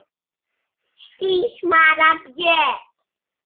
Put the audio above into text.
Þín María Björk.